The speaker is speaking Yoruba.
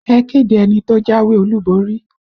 Ẹ kéde ẹni tó jáwé olúborí!